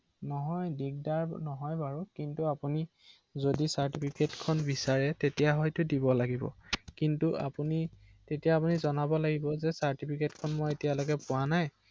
অ